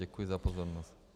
Děkuji za pozornost.